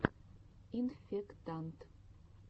инфектант